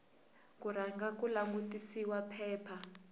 ku rhanga ku langutisiwa phepha